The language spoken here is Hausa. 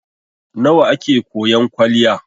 Nawa a ke koyan kwaliya?